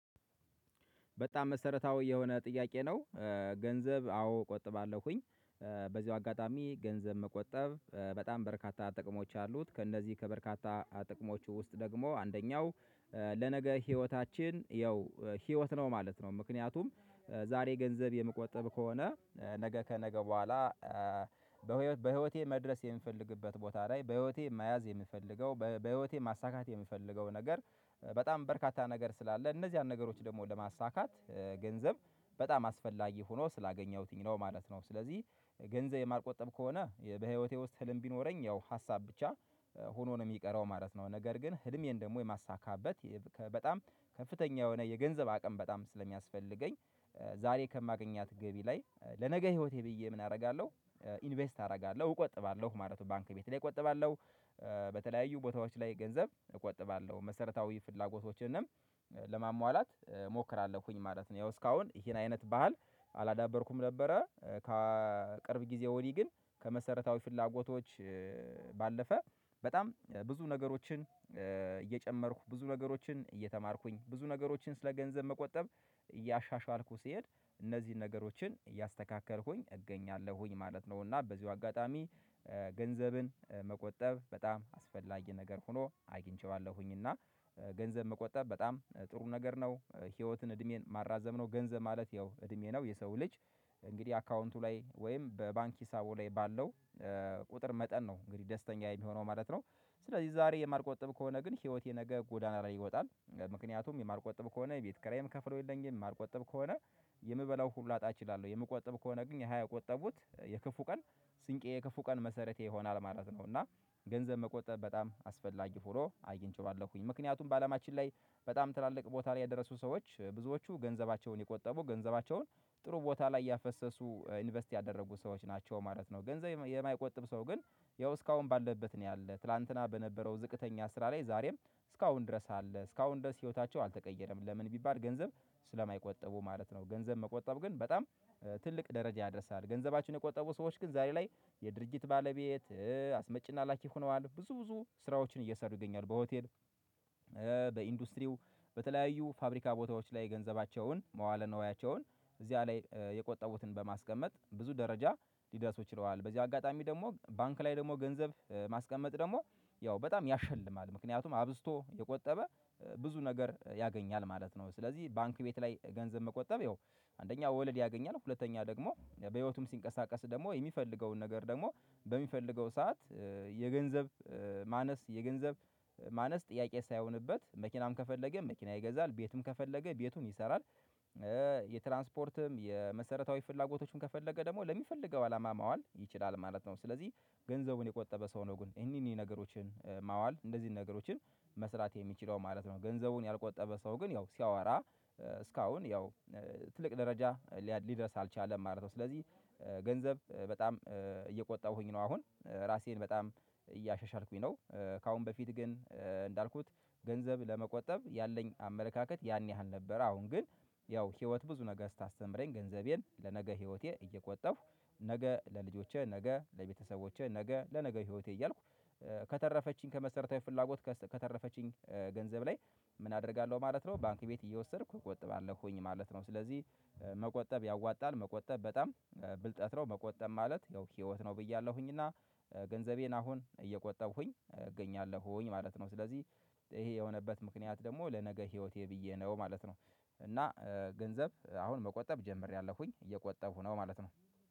በጣም መሰረታዊ የሆነ ጥያቄ ነው። ገንዘብ አዎ ቆጥባለሁኝ። በዚሁ አጋጣሚ ገንዘብ መቆጠብ በጣም በርካታ ጥቅሞች አሉት ከእነዚህ ከበርካታ ጥቅሞቹ ውስጥ ደግሞ አንደኛው ለነገ ህይወታችን ያው ህይወት ነው ማለት ነው። ምክንያቱም ዛሬ ገንዘብ የምቆጥብ ከሆነ ነገ ከነገ በኋላ በህይወቴ መድረስ የምፈልግበት ቦታ ላይ በህይወቴ መያዝ የምፈልገው በህይወቴ ማሳካት የምፈልገው ነገር በጣም በርካታ ነገር ስላለ እነዚህን ነገሮች ደግሞ ለማሳካት ገንዘብ በጣም አስፈላጊ ሆኖ ስላገኘሁትኝ ነው ማለት ነው። ስለዚህ ገንዘብ የማልቆጠብ ከሆነ በህይወቴ ውስጥ ህልም ቢኖረኝ ያው ሀሳብ ብቻ ሆኖ ነው የሚቀረው ማለት ነው። ነገር ግን ህልሜን ደግሞ የማሳካበት በጣም ከፍተኛ የሆነ የገንዘብ አቅም በጣም ስለሚያስፈልገኝ ዛሬ ከማገኛት ገቢ ላይ ለነገ ህይወቴ ብዬ ምን አደርጋለሁ ኢንቨስት አደርጋለሁ እቆጥባለሁ ማለት ነው። ባንክ ቤት ላይ እቆጥባለሁ። በተለያዩ ቦታዎች ላይ ገንዘብ እቆጥባለሁ መሰረታዊ ፍላጎቶችንም ለማሟላት እሞክራለሁኝ ማለት ነው። ያው እስካሁን ይሄን አይነት ባህል አላዳበርኩም ነበረ። ከቅርብ ጊዜ ወዲህ ግን ከመሰረታዊ ፍላጎቶች ባለፈ በጣም ብዙ ነገሮችን እየጨመርኩ ብዙ ነገሮችን እየተማርኩኝ ብዙ ነገሮችን ስለ ገንዘብ መቆጠብ እያሻሻልኩ ስሄድ እነዚህን ነገሮችን እያስተካከልኩኝ እገኛለሁኝ ማለት ነው። እና በዚሁ አጋጣሚ ገንዘብን መቆጠብ በጣም አስፈላጊ ነገር ሆኖ አግኝቼዋለሁኝ። እና ገንዘብ መቆጠብ በጣም ጥሩ ነገር ነው። ህይወትን እድሜን ማራዘም ነው ገንዘብ ማለት ያው እድሜ ነው። የሰው ልጅ እንግዲህ አካውንቱ ላይ ወይም በባንክ ሂሳቡ ላይ ባለው ቁጥር መጠን ነው እንግዲህ ደስተኛ የሚሆነው ማለት ነው። ስለዚህ ዛሬ የማልቆጠብ ከሆነ ግን ህይወቴ ነገ ጎዳና ነው ይወጣል ምክንያቱም የማርቆጠብ ከሆነ ቤት ከራዬም ከፍሎ የለኝም የማልቆጠብ ከሆነ የምበላው ሁሉ ላጣ እችላለሁ የምቆጥብ ከሆነ ግን የሃያ ያቆጠቡት የክፉ ቀን ስንቄ የክፉ ቀን መሰረቴ ይሆናል ማለት ነው። እና ገንዘብ መቆጠብ በጣም አስፈላጊ ፉሎ አየን ችሏለሁኝ ምክንያቱም በአለማችን ላይ በጣም ትላልቅ ቦታ ላይ የደረሱ ሰዎች ብዙዎቹ ገንዘባቸውን የቆጠቡ ገንዘባቸውን ጥሩ ቦታ ላይ ያፈሰሱ ኢንቨስት ያደረጉ ሰዎች ናቸው ማለት ነው። ገንዘብ የማይቆጥብ ሰው ግን ያው እስካሁን ባለበት ነው ያለው ትላንትና በነበረው ዝቅተኛ ስራ ላይ ዛሬም እስካሁን ድረስ አለ እስካሁን ድረስ ህይወታቸው አልተቀየረም ለምን ቢባል ገንዘብ ስለማይቆጠቡ ማለት ነው። ገንዘብ መቆጠብ ግን በጣም ትልቅ ደረጃ ያደርሳል። ገንዘባችን የቆጠቡ ሰዎች ግን ዛሬ ላይ የድርጅት ባለቤት አስመጪና ላኪ ሆነዋል ብዙ ብዙ ስራዎችን እየሰሩ ይገኛሉ። በሆቴል በኢንዱስትሪው በተለያዩ ፋብሪካ ቦታዎች ላይ ገንዘባቸውን መዋል ነዋያቸውን እዚያ ላይ የቆጠቡትን በማስቀመጥ ብዙ ደረጃ ሊደርስ ይችለዋል በዚህ አጋጣሚ ደግሞ ባንክ ላይ ደግሞ ገንዘብ ማስቀመጥ ደግሞ ያው በጣም ያሸልማል ምክንያቱም አብዝቶ የቆጠበ ብዙ ነገር ያገኛል ማለት ነው። ስለዚህ ባንክ ቤት ላይ ገንዘብ መቆጠብ ይኸው አንደኛው ወለድ ያገኛል ሁለተኛ ደግሞ በህይወቱም ሲንቀሳቀስ ደግሞ የሚፈልገውን ነገር ደግሞ በሚፈልገው ሰዓት የገንዘብ ማነስ የገንዘብ ማነስ ጥያቄ ሳይሆንበት መኪናም ከፈለገ መኪና ይገዛል ቤትም ከፈለገ ቤቱን ይሰራል። የትራንስፖርትም የመሰረታዊ ፍላጎቶቹን ከፈለገ ደግሞ ለሚፈልገው አላማ ማዋል ይችላል ማለት ነው። ስለዚህ ገንዘቡን የቆጠበ ሰው ነው ግን እኒህን ነገሮችን ማዋል እንደዚህ ነገሮችን መስራት የሚችለው ማለት ነው። ገንዘቡን ያልቆጠበ ሰው ግን ያው ሲያወራ እስካሁን ያው ትልቅ ደረጃ ሊደርስ አልቻለም ማለት ነው። ስለዚህ ገንዘብ በጣም እየቆጠሁኝ ነው አሁን ራሴን በጣም እያሻሻልኩኝ ነው። ከአሁን በፊት ግን እንዳልኩት ገንዘብ ለመቆጠብ ያለኝ አመለካከት ያን ያህል ነበር። አሁን ግን ያው ህይወት ብዙ ነገ ስታስተምረኝ ገንዘቤን ለነገ ህይወቴ እየቆጠፉ ነገ ለልጆቼ ነገ ለቤተሰቦቼ ነገ ለነገ ህይወቴ እያልኩ ከተረፈችኝ ከመሰረታዊ ፍላጎት ከተረፈችኝ ገንዘብ ላይ ምን አደርጋለሁ ማለት ነው? ባንክ ቤት እየወሰድኩ እቆጥባለሁ ሆኜ ማለት ነው። ስለዚህ መቆጠብ ያዋጣል መቆጠብ በጣም ብልጠት ነው። መቆጠብ ማለት ያው ህይወት ነው ብያለሁኝና ገንዘቤን አሁን እየቆጠብኩኝ እገኛለሁኝ ማለት ነው። ስለዚህ ይሄ የሆነበት ምክንያት ደግሞ ለነገ ህይወቴ ብዬ ነው ማለት ነው። እና ገንዘብ አሁን መቆጠብ ጀምሬያለሁኝ እየቆጠቡ ነው ማለት ነው